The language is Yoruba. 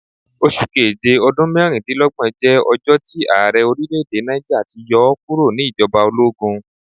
Oṣu Keje ọdun mẹrindinlọgbọn jẹ ọjọ ti aarẹ orilẹ-ede Niger ti yọ ọ kuro ni ijọba ologun